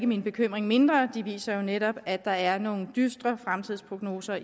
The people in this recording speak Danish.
min bekymring mindre de viser jo netop at der er nogle dystre fremtidsprognoser